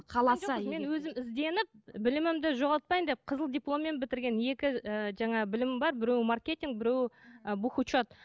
қаласа егер өзім ізденіп білімімді жоғалтпайын деп қызыл дипломмен бітірген екі ііі жаңағы білімім бар біреуі маркетинг біреуі і бух учет